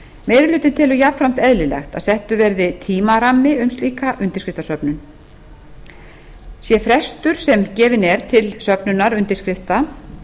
meiri hlutinn telur jafnframt eðlilegt að settur verði tímarammi um slíka undirskriftasöfnun sá frestur sem gefinn er til söfnunar